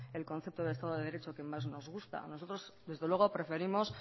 el concepto de estado de derecho que más nos gusta nosotros desde luego preferimos